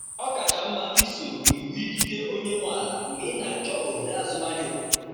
Ọ kacha mma isoro iwu ikike onye nwe ala mgbe ị na-achọ ohere azụmahịa obodo.